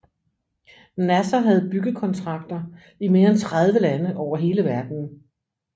Nasser havde byggekontrakter i mere end 30 lande over hele verdenen